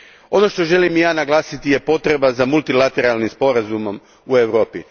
Ono što želim i ja naglasiti je potreba za multilateralnim sporazumom u Europi.